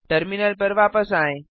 terminal पर वापस आएँ